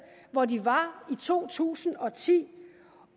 hvor de var i to tusind og ti